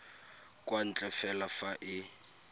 kwa ntle fela fa e